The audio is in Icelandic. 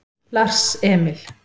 Lars Emil